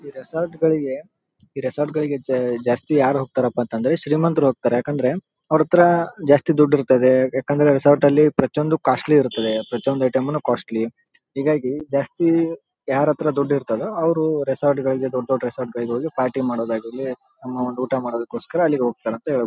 ಇಲ್ಲಿ ತುಂಬಾ ಜನರು ನಿಂತಿದ್ದಾರೆ. ಇಲ್ಲಿ ಲೈಟ್ ಗಳು ಕೂಡ ಇದೆ.